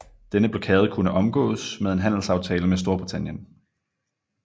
Denne blokade kunne omgås med en handelsaftale med Storbritannien